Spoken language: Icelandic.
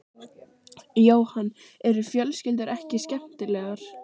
Jóhann: Eru fjölskyldur ekki skemmtilegar?